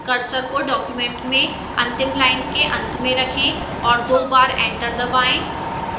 cursor को document में अंतिम line के अंत में रखें और दो बार enter दबाएं